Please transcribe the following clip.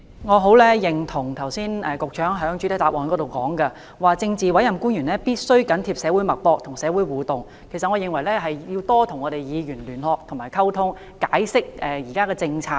我很認同剛才局長在主體答覆中指出的一點，就是政治委任官員必須緊貼社會脈搏、與社會互動，我認為他們也要與議員加強聯絡和溝通，解釋現時政策。